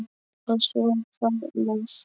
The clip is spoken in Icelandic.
Og svo hvað næst?